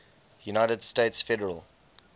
united states federal